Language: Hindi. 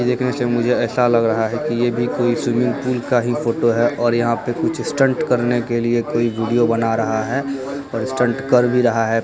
देखने से मुझे ऐसा लग रहा है की ये भी कोई स्विमिंग पूल का ही फोटो है और यहाँ पे कुछ स्टंट करने के लिए वीडियो कोई बना रहा है और स्टंट कर भी रहा है।